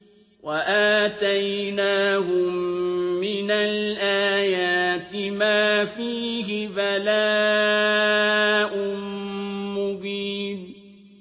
وَآتَيْنَاهُم مِّنَ الْآيَاتِ مَا فِيهِ بَلَاءٌ مُّبِينٌ